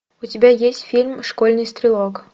у тебя есть фильм школьный стрелок